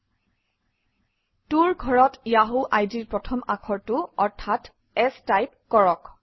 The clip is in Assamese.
To ৰ ঘৰত য়াহু আইডিৰ প্ৰথম আখৰটো অৰ্থাৎ S টাইপ কৰক